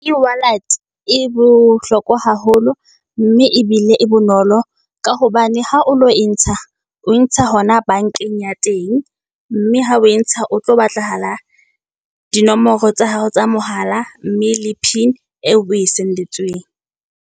E-wallet e bohlokwa haholo mme ebile e bonolo. Ka hobane ha o lo e ntsha o ntsha hona bank-eng ya teng. Mme ha o e ntsha ho tlo batlahala di nomoro tsa hao tsa mohala mme le pin eo o e send-etsweng.